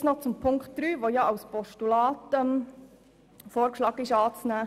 Jetzt noch zu Ziffer 1, bei der ja vorgeschlagen ist, sie als Postulat anzunehmen.